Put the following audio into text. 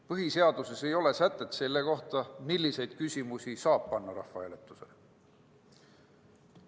Põhiseaduses ei ole sätet selle kohta, milliseid küsimusi saab panna rahvahääletusele.